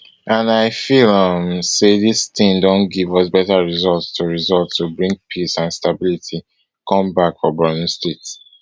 and i feel um say dis tin don give us better result to result to bring peace and stability come back for borno state